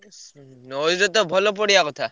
ଆଉ ସିଏ ତ ଭଲ ପଡିବା କଥା।